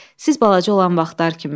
Siz balaca olan vaxtlar kimi.